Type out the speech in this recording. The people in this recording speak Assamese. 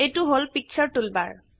এইটো হল পিকচাৰ টুলবাৰ